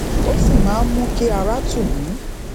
ó sì máa ń mú kí ara tù mí